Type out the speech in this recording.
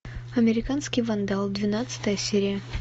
американский вандал двенадцатая серия